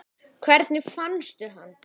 Hvernig fannstu hann?